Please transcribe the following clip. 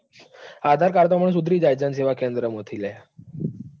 એટલે આધાર card તો હમણાં સુધરી જાય જનસેવા કેન્દ્ર માંથી લ્યા.